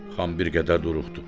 Xan bir qədər duruxdu.